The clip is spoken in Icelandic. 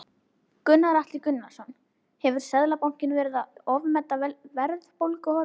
Þetta var eins konar millibilsástand, því að